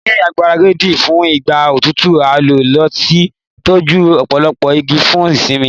Ni igbaradi fun igba otutu a lo lati tọju ọpọlọpọ igi fun simini